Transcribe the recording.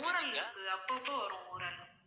ஊறல் அப்பப்போ வரும் ஊறல்